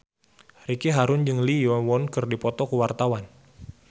Ricky Harun jeung Lee Yo Won keur dipoto ku wartawan